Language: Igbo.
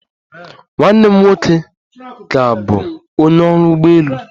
Nwanne m nwoke ka bụ onye ọrụ ụgbọelu